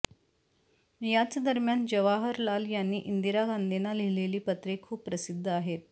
याच दरम्यान जवाहरलाल यांनी इंदिरा गांधींना लिहिलेली पत्रे खूप प्रसिद्ध आहेत